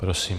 Prosím.